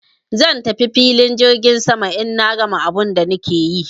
Zan tafi filin jirgin saman in na gama abun da nake yi.